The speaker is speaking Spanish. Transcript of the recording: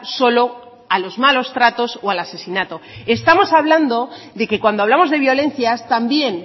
solo a los malos tratos o al asesinato estamos hablando de que cuando hablamos de violencias también